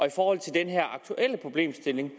i forhold til den her aktuelle problemstilling